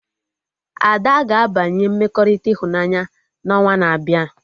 Ada ga-abanye mmekọrịta ịhụnanya na onwa na-abịa